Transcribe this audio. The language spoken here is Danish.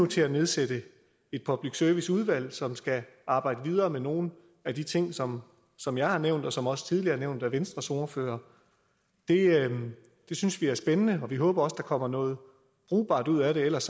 til at nedsætte et public service udvalg som skal arbejde videre med nogle af de ting som som jeg har nævnt og som også tidligere nævnt af venstres ordfører det synes vi er spændende og vi håber også at der kommer noget brugbart ud af det ellers